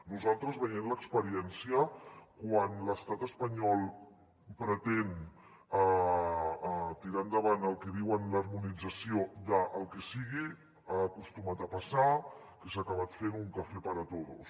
nosaltres veient l’experiència quan l’estat espanyol pretén tirar endavant el que diuen l’harmonització del que sigui ha acostumat a passar que s’ha acabat fent un café para todos